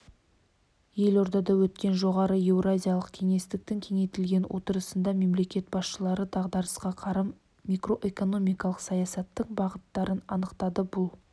елордада өткен жоғары еуразиялық кеңестің кеңейтілген отырысында мемлекет басшылары дағдарысқа қарсы макроэкономикалық саясаттың бағыттарын анықтады бұл